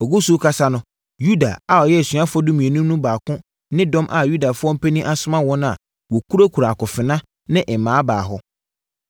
Ɔgu so rekasa no, Yuda a ɔyɛ asuafoɔ dumienu no mu baako ne dɔm a Yudafoɔ mpanin asoma wɔn a wɔkurakura akofena ne mmaa baa hɔ.